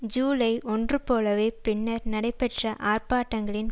ஜூலை ஒன்று போலவே பின்னர் நடைபெற்ற ஆர்ப்பாட்டங்களின்